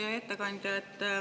Hea ettekandja!